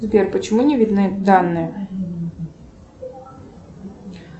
сбер почему не видны данные